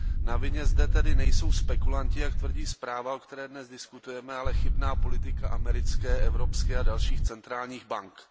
Na vině zde tedy nejsou spekulanti, jak tvrdí zpráva, o které dnes diskutujeme, ale chybná politika americké, evropské a dalších centrálních bank.